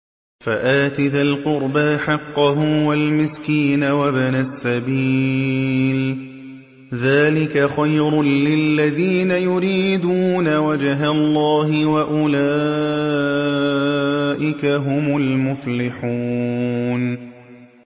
فَآتِ ذَا الْقُرْبَىٰ حَقَّهُ وَالْمِسْكِينَ وَابْنَ السَّبِيلِ ۚ ذَٰلِكَ خَيْرٌ لِّلَّذِينَ يُرِيدُونَ وَجْهَ اللَّهِ ۖ وَأُولَٰئِكَ هُمُ الْمُفْلِحُونَ